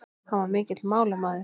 Hann var mikill málamaður.